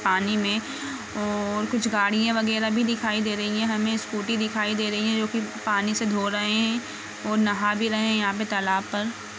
पानी मे और कुछ गाड़ियां वगेरा भी दिखाई दे रही है हमे स्कूटी दिखाई दे रही है जो कि पानी से धो रहे है और नहा भी रहे है यहा पे तालाब पर।